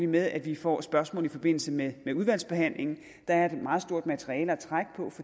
med at vi får spørgsmål i forbindelse med udvalgsbehandlingen der er et meget stort materiale at trække på